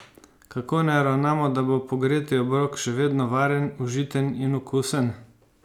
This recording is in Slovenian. Kako naj ravnamo, da bo pogreti obrok še vedno varen, užiten in seveda okusen?